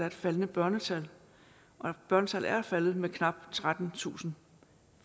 et faldende børnetal børnetallet er faldet med knap trettentusind